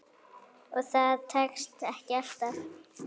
Og það tekst ekki alltaf.